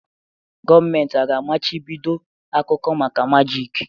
Gọọmenti aga-amachibido akụkọ maka majịk?